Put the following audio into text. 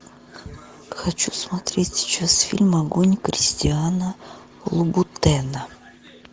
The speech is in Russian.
хочу смотреть сейчас фильм огонь кристиана лубутена